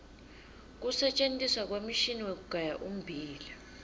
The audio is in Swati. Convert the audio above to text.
kusentjentiswa kwemishini wekugaya ummbila